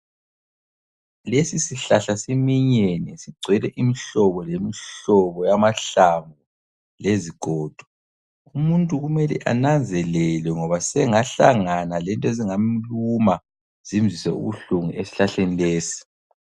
Lesi sihlahla siminyene, sigcwele imihlobo lemihlobo yamahlamvu lezigodo. Umuntu kumele ananzelele ngoba sengahlangana lento ezingamluma zimzwisise ubuhlungu esihlahleni lesi.